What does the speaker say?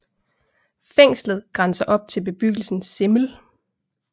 Fængslet grænser op til bebyggelsen Simmel